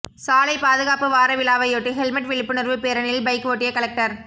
சாலை பாதுகாப்பு வார விழாவையொட்டி ஹெல்ெமட் விழிப்புணர்வு பேரணியில் பைக் ஓட்டிய கலெக்டர்